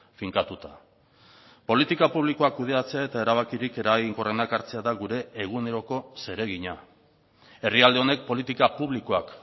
finkatuta politika publikoak kudeatzea eta erabakirik eraginkorrenak hartzea da gure eguneroko zeregina herrialde honek politika publikoak